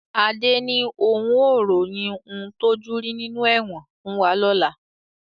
Adé ni òun ó ròyìn ń tojú rí nínú ẹ̀wọ̀n fún wa lọ́la